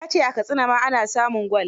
Ya ce a Katsina ma ana samun gwal.